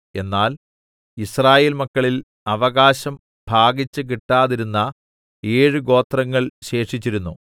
എന്നാൽ യിസ്രായേൽ മക്കളിൽ അവകാശം ഭാഗിച്ച് കിട്ടാതിരുന്ന ഏഴ് ഗോത്രങ്ങൾ ശേഷിച്ചിരുന്നു